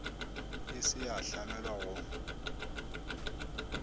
e se ya hlamelwa go